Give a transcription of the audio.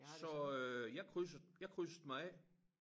Så øh jeg krydsede jeg krydsede mig af